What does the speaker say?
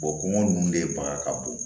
kɔngɔ nunnu de baga ka bon